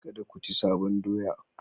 Kada ku ci sabon doya